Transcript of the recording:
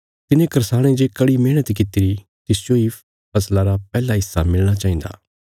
तिने करसाणे जे कड़ी मेहणत कित्तिरी तिसजो इ फसला रा पैहला हिस्सा मिलणा चाहिन्दा